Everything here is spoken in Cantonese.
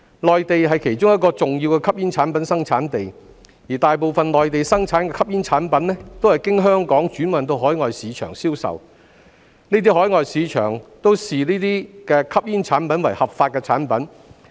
內地是其中一個重要的吸煙產品生產地，而大部分內地生產的吸煙產品都是經香港轉運到海外市場銷售，這些海外市場均視該等吸煙產品為合法產品。